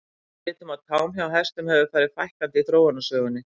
Við vitum að tám hjá hestum hefur farið fækkandi í þróunarsögunni.